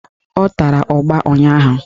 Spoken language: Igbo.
Ọ tara ụgba ụnyaahụ